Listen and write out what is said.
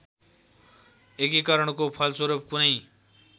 एकीकरणको फलस्वरूप कुनै